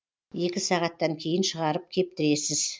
екі сағаттан кейін шығарып кептіресіз